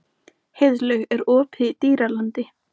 Heiðlaug, er opið í Dýralandi?